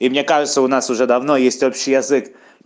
и мне кажется у нас уже давно есть общий язык